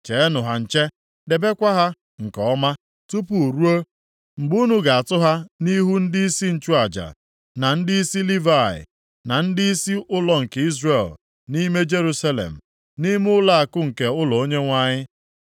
Chenụ ha nche, debekwa ha nke ọma, tupu ruo mgbe unu ga-atụ ha nʼihu ndịisi nchụaja, na ndịisi Livayị, na ndịisi ụlọ nke Izrel nʼime Jerusalem, nʼime ụlọakụ nke ụlọ Onyenwe anyị.”